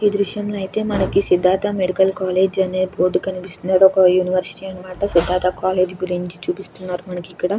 ఈ దృశ్యం లో అయితే మనకి సిద్దార్ధ మెడికల్ కాలేజ్ అనే ఒక బోర్డు కనిపిస్తుంది. ఒక యూనివర్సిటీ అనమాట సిద్దార్ధ కాలేజ్